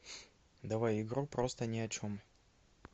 давай игру просто ни о чем